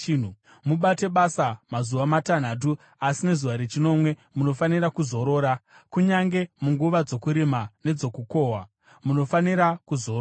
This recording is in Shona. “Mubate basa mazuva matanhatu, asi nezuva rechinomwe munofanira kuzorora; kunyange munguva dzokurima nedzokukohwa munofanira kuzorora.